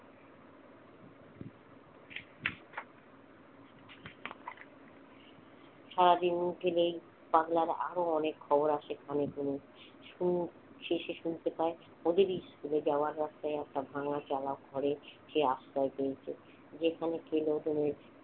সারাদিন ধরে পাগলার অনেক আরো অনেক খবর আসে কানে শুনি সেসব শুনতে পাই দেখি যাওয়ার রাস্তায় একটা ভাঙ্গাচালা ঘরে সে আশ্রয় পেয়েছে। যেখানে